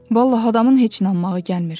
Vallah, adamın heç inanmağı gəlmir.